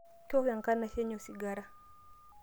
kewok enkanashe enye osigara